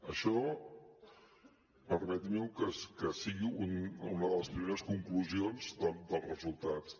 això permeti’m que sigui una de les primeres conclusions dels resultats